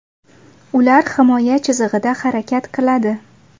Ular himoya chizig‘ida harakat qiladi.